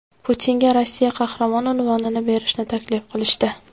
Putinga Rossiya Qahramoni unvonini berishni taklif qilishdi.